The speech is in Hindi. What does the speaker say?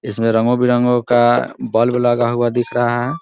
इसमें रंगों-बिरंगों का बल्ब लगा हुआ दिख रहा है ।